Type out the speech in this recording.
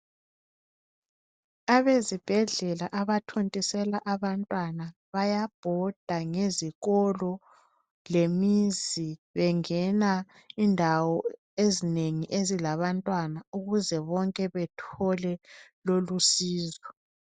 Abezibhedlela abathontisela abantwana bayabhoda ezikolo lemizi bengena indawo ezinengi abantwana ukuze bonke bethole lolo usizo.